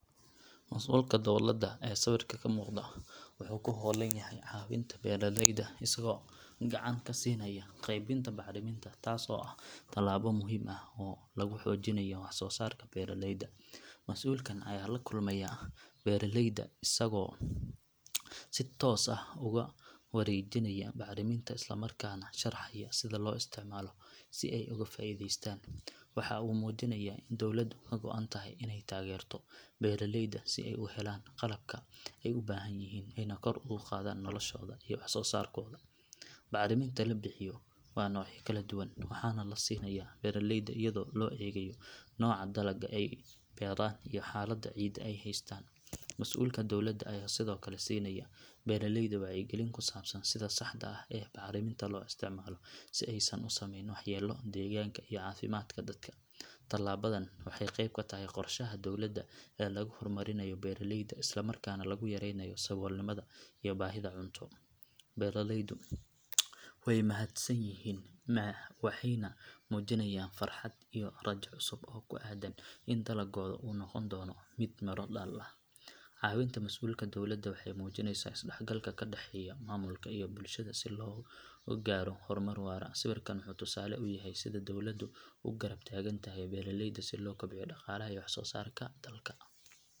Masuulka dawladda ee sawirka ka muuqda wuxuu ku hawlan yahay caawinta beeraleyda isagoo gacan ka siinaya qaybinta bacriminta taas oo ah tallaabo muhiim ah oo lagu xoojinayo wax soo saarka beeraleyda. Masuulkan ayaa la kulmaya beeraleyda isagoo si toos ah ugu wareejinaya bacriminta islamarkaana sharaxaya sida loo isticmaalo si ay uga faa’iideystaan. Waxa uu muujinayaa in dawladdu ka go’an tahay inay taageerto beeraleyda si ay u helaan qalabka ay u baahan yihiin ayna kor ugu qaadaan noloshooda iyo wax soo saarkooda. Bacriminta la bixiyo waa noocyo kala duwan waxaana la siinayaa beeraleyda iyadoo loo eegayo nooca dalagga ay beeraan iyo xaaladda ciidda ay haystaan. Masuulka dawladda ayaa sidoo kale siinaya beeraleyda wacyigelin ku saabsan sida saxda ah ee bacriminta loo isticmaalo si aysan u samayn waxyeello deegaanka iyo caafimaadka dadka. Tallaabadan waxay qayb ka tahay qorshaha dowladda ee lagu horumarinayo beeraleyda islamarkaana lagu yareynayo saboolnimada iyo baahida cunto. Beeraleydu way mahadsan yihiin waxayna muujinayaan farxad iyo rajo cusub oo ku aaddan in dalaggooda uu noqon doono mid miro dhal ah. Caawinta masuulka dawladda waxay muujinaysaa is dhexgalka ka dhexeeya maamulka iyo bulshada si loo gaaro horumar waara. Sawirkan wuxuu tusaale u yahay sida dawladdu u garab taagan tahay beeraleyda si loo kobciyo dhaqaalaha iyo wax soo saarka dalka.